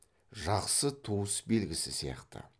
жақсы туыс белгісі сияқты